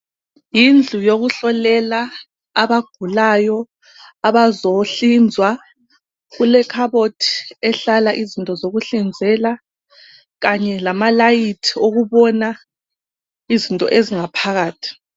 Yindlu yokuhlolela abagulayo abazohlinzwa. Kulekhabothi ehlala izinto zokuhlinzela kanye lamalayithi ukubona izinto ezingaphakathi.